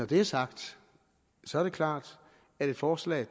det er sagt så er det klart at et forslag